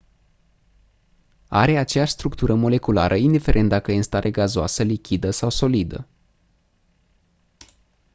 are aceeași structură moleculară indiferent dacă e în stare gazoasă lichidă sau solidă